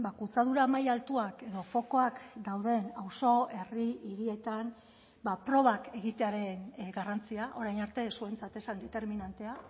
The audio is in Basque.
kutsadura maila altuak edo fokoak dauden auzo herri hirietan probak egitearen garrantzia orain arte zuentzat ez zen determinantea